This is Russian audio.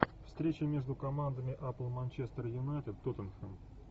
встреча между командами апл манчестер юнайтед тоттенхэм